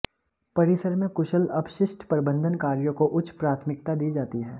परिसर में कुशल अपशिष्ट प्रबन्धन कार्यों को उच्च प्राथमिकता दी जाती है